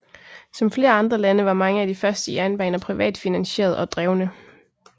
Som flere andre lande var mange af de første jernbaner privat finansieret og drevne